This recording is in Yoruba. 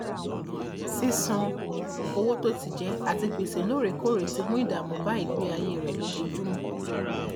sísan owó tó ti jẹ àti gbèsè lóòrèkóòrè ti mú ìdàmú bá ìgbéayé rẹ lójoojúmọ